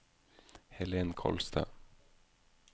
Helen Kolstad